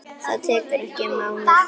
Það getur tekið um mánuð.